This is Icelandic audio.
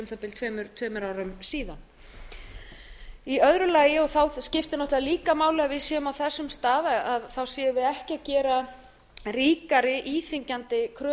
það bil tveimur árum síðan í eru lagi og þá skiptir náttúrlega líka máli að við séum á þessum stað ekki að gera ríkari íþyngjandi kröfur